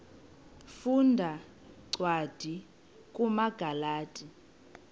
funda cwadi kumagalati